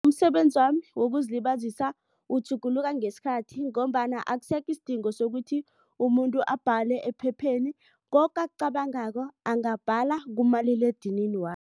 Umsebenzi wami wokuzilibazisa utjhuguluka ngesikhathi ngombana akusekho isidingo sokuthi umuntu abhale ephepheni koke akucabangako angabhala kumaliledinini